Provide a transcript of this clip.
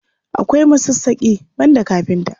Akwai masassaƙi, banda kafinta.